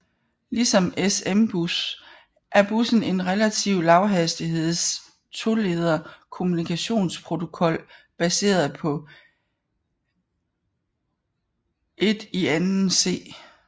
Ligesom SMBus er bussen en relativ lavhastigheds toleder kommunikationsprotokol baseret på I²C